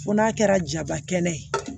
Ko n'a kɛra jabakɛla ye